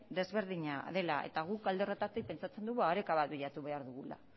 ezberdina dela eta guk alde horretatik pentsatzen dugu oreka bat bilatu behar dugula